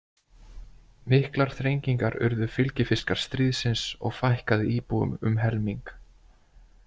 Miklar þrengingar urðu fylgifiskar stríðsins og fækkaði íbúum um helming.